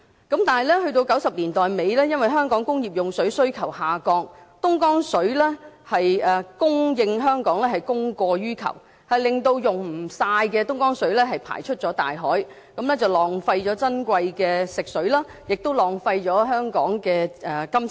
但是，在1990年代末，由於香港工業用水需求下降，供應香港的東江水是供過於求，令未能盡用的東江水排出大海，浪費了珍貴的食水，亦浪費了香港的金錢。